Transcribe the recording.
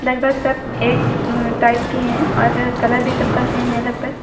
लगभग सब एक अह टाइप की हैं और कलर भी सब का सेम है लगभग।